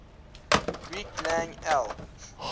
greek lang el